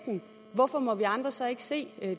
hvorfor må vi andre så ikke se